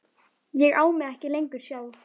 Ég á mig ekki lengur sjálf.